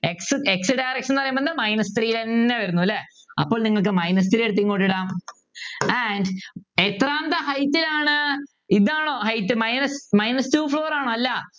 x X direction എന്ന് പറയുമ്പോൾ Minus three ൽ എന്നെ വരുന്നു അല്ലേ അപ്പോൾ നിങ്ങൾക്ക് Minus three എടുത്ത് ഇങ്ങോട്ട് ഇടം and എത്രാമത്തെ height ൽ ആണ് ഇതാണോ height Minus Minus two floor ആണോ അല്ല